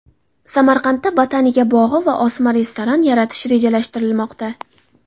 Samarqandda botanika bog‘i va osma restoran yaratish rejalashtirilmoqda.